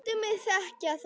Láttu mig þekkja það!